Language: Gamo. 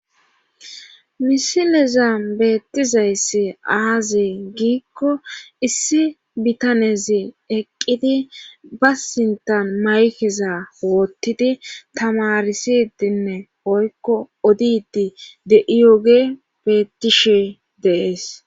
misilezan beettizayssi aazi giikko issi bitanezi eqqidi ba sintan maykeza woottidi tamarisidinne poykko odidi de'iyooge beettishe de'ees